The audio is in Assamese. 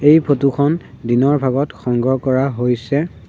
এই ফটো খন দিনৰ ভাগত সংগ্ৰহ কৰা হৈছে।